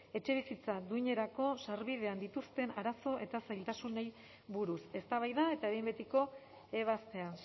etxebizitza duinerako sarbidean dituzten arazo eta zailtasunei buruz eztabaida eta behin betiko ebazpena